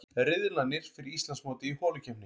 Riðlarnir fyrir Íslandsmótið í holukeppni